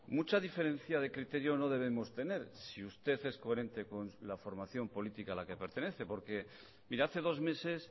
mucha diferencia de criterio no debemos tener si usted es coherente con la formación política a la que pertenece porque mire hace dos meses